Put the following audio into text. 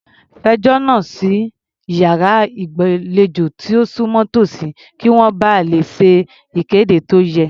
Fẹjọ́ náà sùn sí iyàrá ìgbàlejò tó súnmọ́ tòsí, kí wọ́n ba lè ṣe ìkéde tó yẹ.